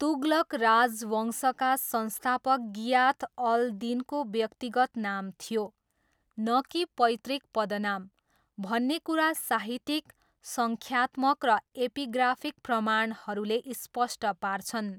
तुगलक राजवंशका संस्थापक गियाथ अल दिनको व्यक्तिगत नाम थियो, न कि पैतृक पदनाम, भन्ने कुरा साहित्यिक, सङ्ख्यात्मक र एपिग्राफिक प्रमाणहरूले स्पष्ट पार्छन्।